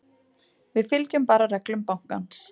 Við fylgjum bara reglum bankans.